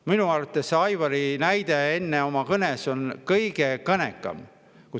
Minu arvates on Aivari näide, mis ta enne oma kõnes tõi, kõige kõnekam.